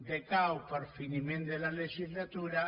decau per finiment de la legislatura